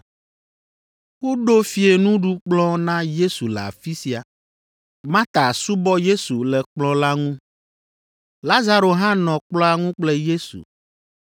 Woɖo fiẽnuɖukplɔ̃ na Yesu le afi sia. Marta subɔ Yesu le kplɔ̃ la ŋu. Lazaro hã nɔ kplɔ̃a ŋu kple Yesu.